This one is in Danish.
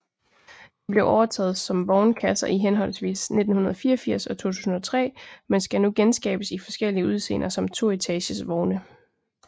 De blev overtaget som vognkasser i henholdsvis 1984 og 2003 men skal nu genskabes i forskellige udseender som toetages vogne